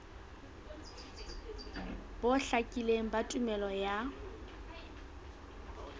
bo hlakileng ba tumello ya